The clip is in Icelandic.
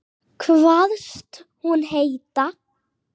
Kvaðst hún heita